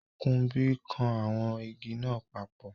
Kunbi kan awon igi naa papo